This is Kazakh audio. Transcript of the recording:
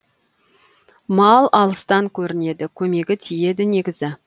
мал алыстан көрінеді көмегі тиеді негізі